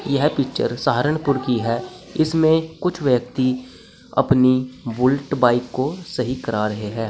यह पिक्चर सहारनपुर की है इसमें कुछ व्यक्ति अपनी बुलेट बाइक को सही करा रहे है।